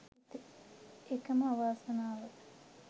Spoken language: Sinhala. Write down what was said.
එකම අවාසනාව